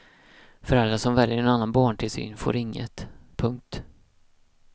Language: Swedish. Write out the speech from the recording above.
Föräldrar som väljer en annan barntillsyn får inget. punkt